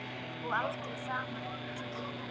Og aldrei framar gleði.